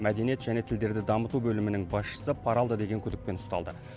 мәдениет және тілдерді дамыту бөлімінің басшысы пара алды деген күдікпен ұсталды